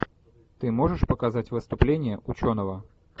ты можешь показать выступление ученого